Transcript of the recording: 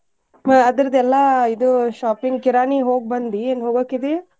ಹ್ಮ್ ಅದರ್ದೆಲ್ಲಾ ಇದು shopping ಕಿರಾಣಿ ಹೋಗ್ಬಂದಿ ಇನ್ ಹೋಗಾಕಿದಿ?